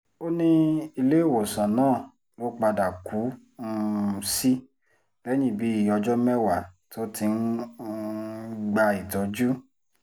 ó ní iléèwòsàn náà ló padà kú um sí lẹ́yìn bíi ọjọ́ mẹ́wàá tó ti ń um gba ìtọ́jú